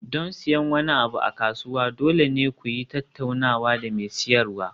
Don siyan wani abu a kasuwa, dole ne ku yi tattaunawa da mai siyarwa.